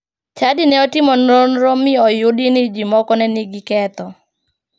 Chadi ne otimo nonro mi oyudi ni ji moko ne nigi ketho.